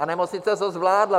A nemocnice to zvládla.